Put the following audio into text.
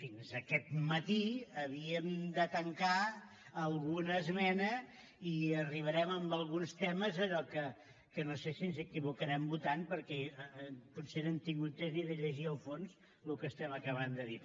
fins aquest mati havíem de tancar alguna esmena i arribarem en alguns temes a allò que no sé si ens equivocarem votant perquè potser no hem tingut temps ni de llegir a fons el que estem acabant de dir